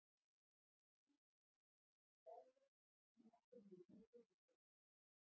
Lítið markvert gerðist það sem eftir lifði fyrri hálfleiks.